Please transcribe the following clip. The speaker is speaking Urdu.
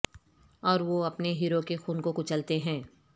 اور وہ اپنے ہیرو کے خون کو کچلتے ہیں